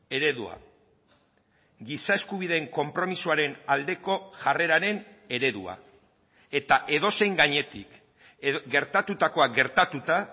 eredua giza eskubideen konpromisoaren aldeko jarreraren eredua eta edozein gainetik gertatutakoa gertatuta